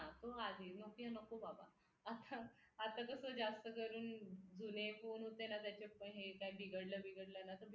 nokia नको बाबा आता आता तर तो जास्त कारण जुने फोन होते ना त्याच्यात काय बिघडलं बिघडलं ना तर